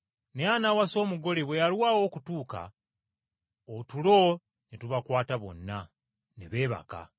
Naye anaawasa omugole bwe yalwawo okutuuka otulo ne tubakwata bonna, ne beebaka.